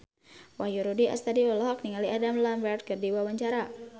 Wahyu Rudi Astadi olohok ningali Adam Lambert keur diwawancara